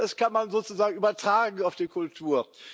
Das kann man sozusagen übertragen auf die Kultur.